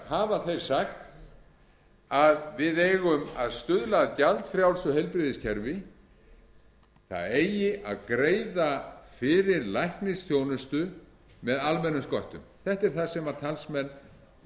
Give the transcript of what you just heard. hafa þeir sagt að við eigum að stuðla að gjaldfrjálsu heilbrigðiskerfi það eigi að greiða fyrir læknisþjónustu með almennum sköttum þetta er það sem talsmenn